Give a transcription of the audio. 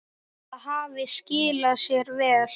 Það hafi skilað sér vel.